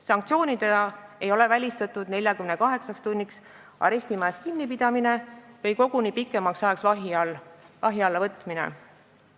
Sanktsioonidena ei ole välistatud 48 tunniks arestimajas kinnipidamine või koguni pikemaks ajaks vahi alla võtmine.